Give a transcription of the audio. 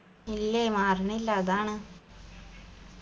ഇല്ലേ മാറിണില്ല അതാണ്